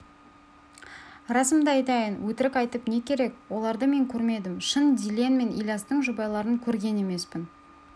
расымды айтайын өтірік айтып не керек оларды мен көрмедім шын дильен мен ильястың жұбайларын көрген емеспін